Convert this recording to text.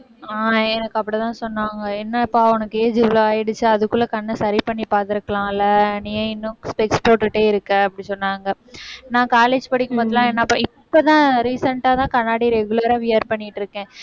ஆஹ் எனக்கு அப்படித்தான் சொன்னாங்க. என்னப்பா, உனக்கு age இவ்வளவு ஆயிடுச்சு. அதுக்குள்ள கண்ணை சரி பண்ணி பார்த்திருக்கலாம்ல. நீ ஏன் இன்னும் specs போட்டுட்டே இருக்க அப்படி சொன்னாங்க. நான் college படிக்கும் போதெல்லாம் இப்பதான் recent ஆ தான் கண்ணாடி regular ஆ wear பண்ணிட்டிருக்கேன்.